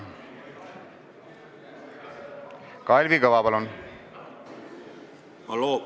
Kalvi Kõva, palun!